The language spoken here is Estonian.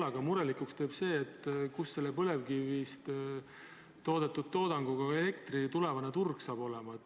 Meid teeb murelikuks küsimus, kus põlevkivist toodetud elektri tulevane turg saab olema.